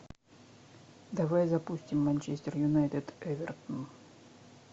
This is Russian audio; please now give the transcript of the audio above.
давай запустим манчестер юнайтед эвертон